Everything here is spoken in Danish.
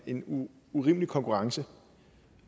en urimelig konkurrence